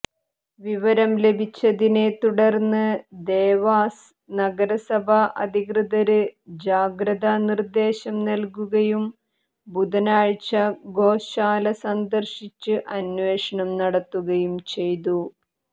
വിവരം ലഭിച്ചതിനെ തുടര്ന്ന് ദേവാസ് നഗരസഭാ അധികൃതര് ജാഗ്രതാ നിര്ദേശം നല്കുകയും ബുധനാഴ്ച ഗോശാല സന്ദര്ശിച്ച് അന്വേഷണം നടത്തുകയും ചെയ്തു